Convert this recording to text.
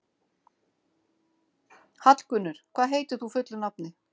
Hallgunnur, hvað heitir þú fullu nafni?